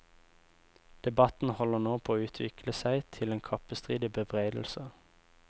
Debatten holder nå på å utvikle seg til en kappestrid i bebreidelser.